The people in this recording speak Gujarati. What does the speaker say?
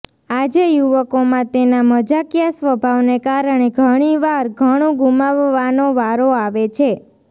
આજે યુવકોમાં તેના મજાકિયા સ્વભાવને કારણે ઘણીવાર ઘણું ગુમાવવાનો વારો આવે છે